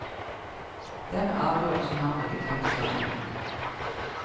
Den avgjørelsen har hun ikke tenkt å ta ennå.